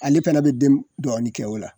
Ale fɛnɛ be den dɔɔnin kɛ o la.